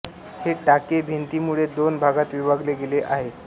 हे टाके भिंतीमुळे दोन भागात विभागले गेले आहे